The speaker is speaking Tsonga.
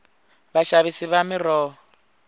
vaxavisi va miroho